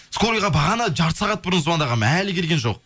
скорыйға бағана жарты сағат бұрын звондағанмын әлі келген жоқ